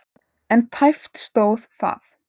En tæpt stóð það.